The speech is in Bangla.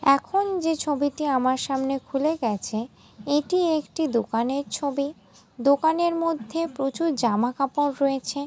এখন যে ছবিতে আমার সামনে খুলে গেছে এটি একটি দোকানের ছবি। দোকানের মধ্যে প্রচুর জামা কাপড় রয়েছে।